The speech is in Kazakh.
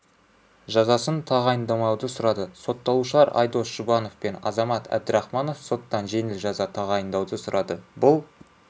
жазасын тағайындамауды сұрады сотталушылар айдос жұбанов пен азамат әбдірахманов соттан жеңіл жаза тағайындауды сұрады бұл